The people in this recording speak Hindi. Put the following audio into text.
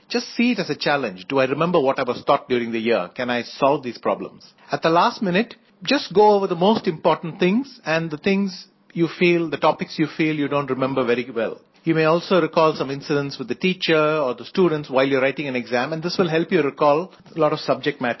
just see it as a challenge do I remember what I was taught during the year can I solve these problems at the last minute just go over the most important things and the things you feel the topics you feel you don't remember very well you may also recall some incidents with the teacher or the students while you are writing an exam and this will help you recall uh lot of subject matter